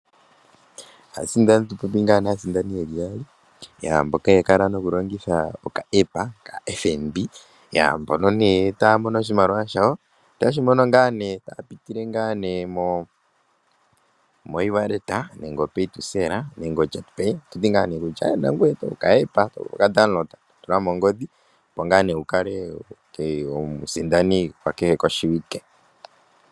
Aasindani Otatu popi aasindani ye li yaali mboka ya kala nokulongitha okaEppa (epandja lyopaungomba) kaFNB. Mbono taya mono oshimaliwa shawo, otaye shi mono taya pitile mokutuma oshimaliwa kongodhi okulongitha okutuma konomola yongodhi, okutula komayalulo gombaanga go FNB. Nangoye oto vulu okutula epandja ndika lyopaungomba mongodhi yoye, opo wu kale omusindani gwakehe oshiwike.